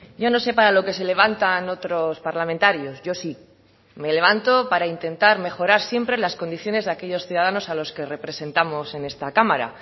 yo no sé para lo que se levantan otros parlamentarios yo sí me levanto para intentar mejorar siempre las condiciones de aquellos ciudadanos a los que representamos en esta cámara